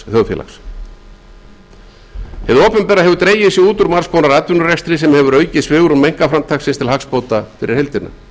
þjóðfélags hið opinbera hefur dregið sig út úr margs konar atvinnurekstri sem hefur aukið svigrúm einkaframtaksins til hagsbóta fyrir heildina